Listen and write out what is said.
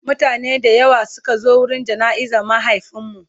mutane da yawa Suka zo wurin jana'izar mahaifinmu